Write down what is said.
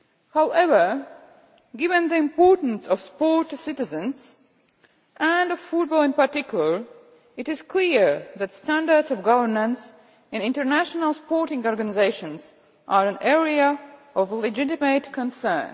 However, given the importance of sport to citizens, and of football in particular, it is clear that standards of governance in international sporting organisations are an area of legitimate concern.